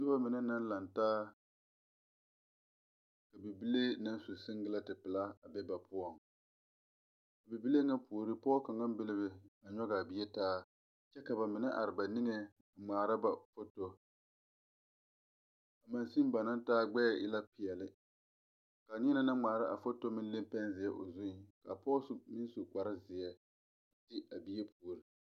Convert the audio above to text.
Noba mine naŋ laŋ taa ka bibile su siŋgyilɛɛti pelaa a be ba poɔ, a bibile na puori pɔge kaŋa be la be a nyoŋ a bie taa, kyɛ ka ba mine are ba niŋe a ŋmaara ba photo a machine ba naŋ taa gbeɛ e la peɛle ka niɛ naŋ ŋmaara a photo leŋ pɛŋziɛ o zuŋ ka pɔge su bonsu kpare ziɛ be a bie puori.